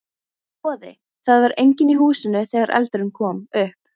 Boði: Það var enginn í húsinu þegar eldurinn kom upp?